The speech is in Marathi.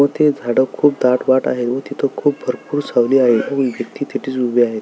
तिथे ते झाड खूप डाट वाट आहेत व खूप भरपूर सावली आहे व तिथंच उभी आहे.